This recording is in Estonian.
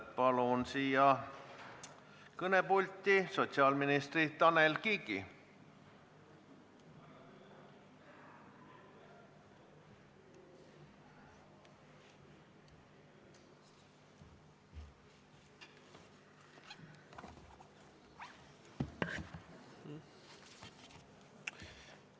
Palun kõnepulti sotsiaalminister Tanel Kiigi!